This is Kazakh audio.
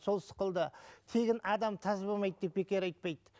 сол сықылды тегін адам таз болмайды деп бекер айтпайды